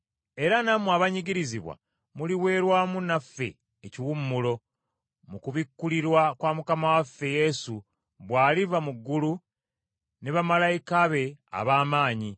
Era nammwe abanyigirizibwa muliweerwa wamu naffe ekiwummulo, mu kubikkulirwa kwa Mukama waffe Yesu bw’aliva mu ggulu, ne bamalayika be ab’amaanyi,